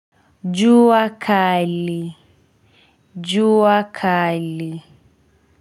Jua kali. Jua kali.